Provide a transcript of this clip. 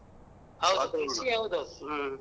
ಹ್ಮ.